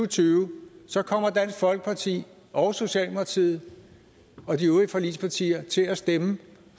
tyve kommer dansk folkeparti og socialdemokratiet og de øvrige forligspartier til at stemme